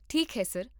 ਠੀਕ ਹੈ, ਸਰ